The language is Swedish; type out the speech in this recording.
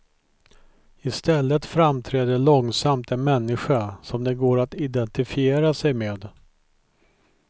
I stället framträder långsamt en människa som det går att identifiera sig med.